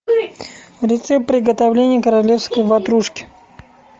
рецепт приготовления королевской ватрушки